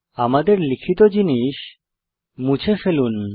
আমাদের লিখিত জিনিস মুছে ফেলুন